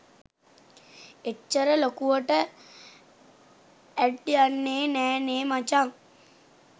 එච්චර ලොකුවට ඇඩ් යන්නෙ නෑනෙ මචන්.